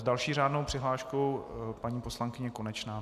S další řádnou přihláškou paní poslankyně Konečná.